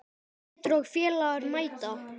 Pétur og félagar mæta.